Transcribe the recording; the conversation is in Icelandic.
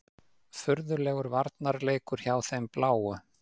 Furðulegur varnarleikur hjá þeim bláu.